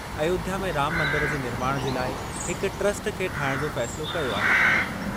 अयोध्या में राम मंदर जे निर्माण जे लाइ हिक ट्रस्ट खे ठाहिणु जो फ़ैसिलो कयो आहे।